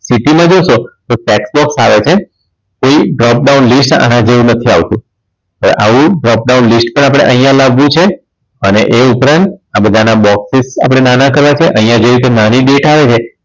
City માં જશો તો tax box આવે છે પણ job downlist આના જેવું નથી આવતું. આવું job down list પણ અહીંયા લાવવું છે અને એ ઉપરાંત આ બધાના box width આપણે નાના કરવા છે અહીંયા જે રીતે નાની date આવે છે